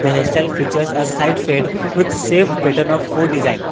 there self pictures as side fade with shaved pattern of fored design.